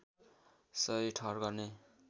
सही ठहर गर्ने